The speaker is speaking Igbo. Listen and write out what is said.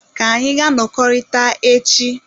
Ka anyị gaa nọkọrịta echi.